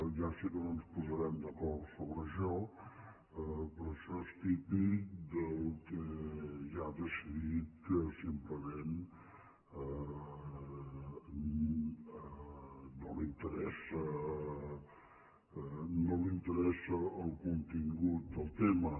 ja sé que no ens posarem d’acord sobre això però això és típic del qui ja ha decidit que simplement no li interessa el contingut del tema